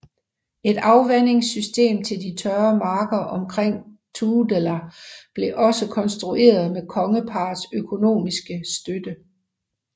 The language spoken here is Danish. Et afvandingssystem til de tørre marker omkring Tudela blev også konstrueret med kongeparrets økonomiske støtte